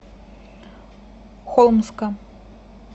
холмска